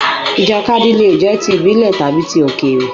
Ìjàkadì le è jẹ́ ti ìbílè tàbi ti Òkèrè